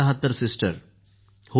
yes sir